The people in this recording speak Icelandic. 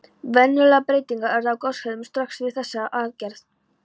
Verulegar breytingar urðu á goshegðun Strokks við þessa aðgerð.